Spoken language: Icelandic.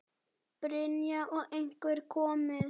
Brynja: Og einhver komið?